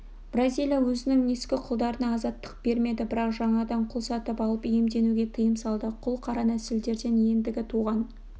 бразилия өзінің ескі құлдарына азаттық бермеді бірақ жаңадан құл сатып алып иемденуге тыйым салды құл қара нәсілділерден ендігі туған